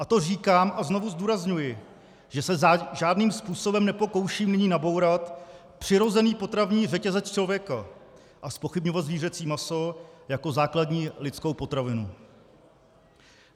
A to říkám, a znovu zdůrazňuji, že se žádným způsobem nepokouším nyní nabourat přirozený potravní řetězec člověka a zpochybňovat zvířecí maso jako základní lidskou potravinu.